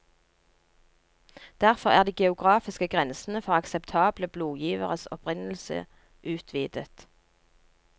Derfor er de geografiske grensene for akseptable blodgiveres opprinnelse utvidet.